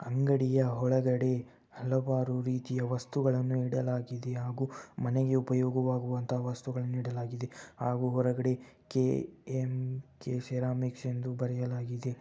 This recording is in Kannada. ಅಂಗಡಿಯ ಒಳಗಡೆ ಹಲವಾರು ರಿತಿಯ ವಸ್ತುಗಳನ್ನು ಇಡಲಾಗಿದೆ ಹಾಗೂ ಮನೆಗೆ ಉಪಯೋಗವಾಗುವಂತ ವಸ್ತುವನ್ನು ಇಡಲಾಗಿದೆ ಹಾಗೂ ಹೊರಗಡೆ ಕೆ.ಎಮ್‌.ಕೆ ಬರೆಯಲಾಗಿದೆ .